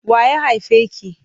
Wa ya haife ki?